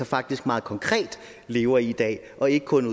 faktisk meget konkret lever i i dag og ikke kun